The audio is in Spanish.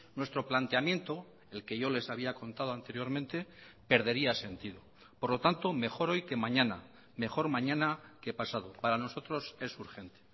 nuestro planteamiento el que yo les había contado anteriormente perdería sentido por lo tanto mejor hoy que mañana mejor mañana que pasado para nosotros es urgente